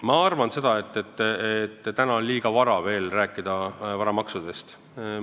Ma arvan, et täna on veel liiga vara rääkida varamaksudest.